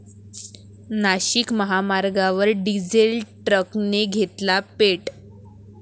नाशिक महामार्गावर डिझेल टॅंकरने घेतला पेट